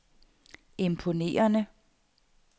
imponerende